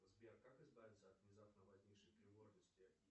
сбер как избавиться от внезапно возникшей тревожности